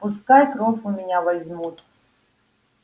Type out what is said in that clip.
пускай кровь у меня возьмут